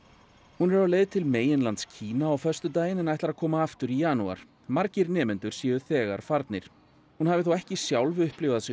hún er á leið til meginlands Kína á föstudaginn en ætlar að koma aftur í janúar margir nemendur séu þegar farnir hún hafi þó ekki sjálf upplifað sig